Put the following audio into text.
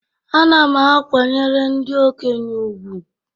Ana m akwanyere ndị okenye ùgwù